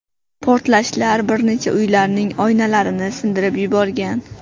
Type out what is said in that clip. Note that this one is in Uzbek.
Portlashlar bir necha uylarning oynalarini sindirib yuborgan.